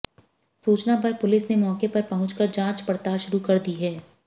सूचना पर पुलिस ने मौके पर पहुंच कर जांच पड़ताल शुरू कर दी है